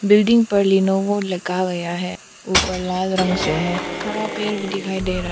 building पर लिनोओ लिखा गया है उपर लाल रंग से है हरा पेड़ भी दिखाई दे रहा--